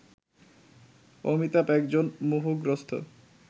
অমিতাভ একজন মোহগ্রস্থ